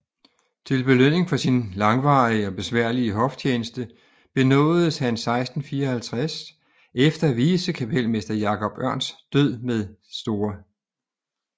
Til belønning for sin langvarige og besværlige hoftjeneste benådedes han 1654 efter vicekapelmester Jacob Ørns død med St